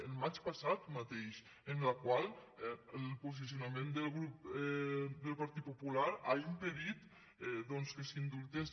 al maig passat mateix en el qual el posicionament del grup del partit popular ha impedit que s’indultés